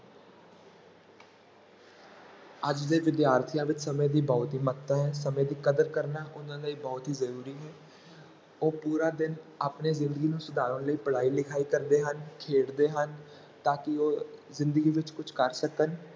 ਅੱਜ ਦੇ ਵਿਦਿਆਰਥੀਆਂ ਵਿੱਚ ਸਮੇਂ ਦੀ ਬਹੁਤ ਹੀ ਮਹੱਤਤਾ ਹੈ, ਸਮੇਂ ਦੀ ਕਦਰ ਕਰਨਾ ਉਹਨਾਂ ਲਈ ਬਹੁਤ ਹੀ ਜ਼ਰੂਰੀ ਹੈ ਉਹ ਪੂਰਾ ਦਿਨ ਆਪਣੇ ਜ਼ਿੰਦਗੀ ਨੂੰ ਸੁਧਾਰਨ ਲਈ ਪੜ੍ਹਾਈ ਲਿਖਾਈ ਕਰਦੇ ਹਨ, ਖੇਡਦੇ ਹਨ, ਤਾਂ ਕਿ ਉਹ ਜ਼ਿੰਦਗੀ ਵਿੱਚ ਕੁੱਝ ਕਰ ਸਕਣ।